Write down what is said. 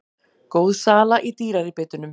Góð sala í dýrari bitunum